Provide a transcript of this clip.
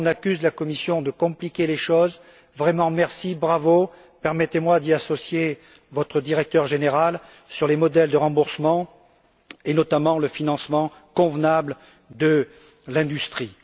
Souvent, on accuse la Commission de compliquer les choses. Merci et bravo! Permettez moi d'y associer votre directeur général sur les modèles de remboursement et notamment le financement convenable de l'industrie.